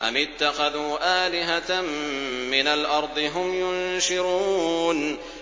أَمِ اتَّخَذُوا آلِهَةً مِّنَ الْأَرْضِ هُمْ يُنشِرُونَ